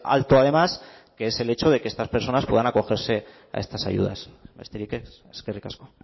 alto además que es el hecho de que estas personas puedan acogerse a estas ayudas besterik ez eskerrik asko